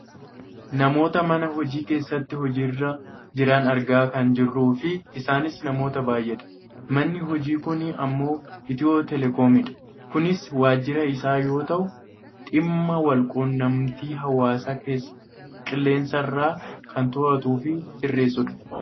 namoota mana hojii keessatti hojiirra jiran argaa kan jirruufi isaanis namoota baayyeedha. manni hojii kun ammoo Itiyoo telekoomidha. kunis waajira isaa yoo ta'u dhimma wal quunnamtii hawaasaa qilleensarraan kan to'atuufi sirreesudha.